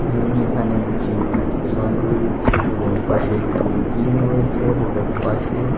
আমি এখানে একটি বাউন্ডারি দেখছি এবং পাশে একটি বিল্ডিং রয়েছে রোডের পাশে।